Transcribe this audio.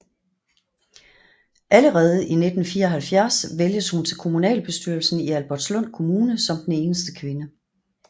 Allerede i 1974 vælges hun til kommunalbestyrelsen i Albertslund Kommune som eneste kvinde